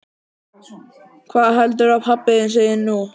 Hvað heldurðu að pabbi þinn segi nú?